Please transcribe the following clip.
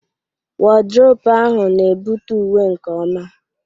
Wọdrobu ahụ na-ebute uwe nke ọma.